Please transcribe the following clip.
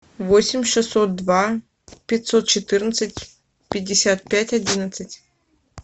восемь шестьсот два пятьсот четырнадцать пятьдесят пять одиннадцать